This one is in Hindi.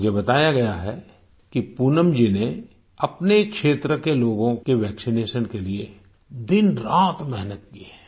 मुझे बताया गया है कि पूनम जी ने अपने क्षेत्र के लोगों के वैक्सिनेशन के लिए दिनरात मेहनत की है